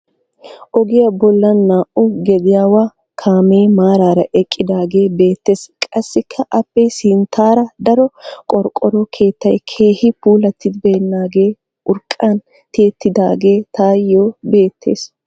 Ogiya bollan naa"u gediyaawa kaamee maaraara eqqidaagee beettees. Qassikka aappe sinttaara daro qorqqoro keettay keehinne puulattibeennaagee urqqan tiyettidaage tayo beettees.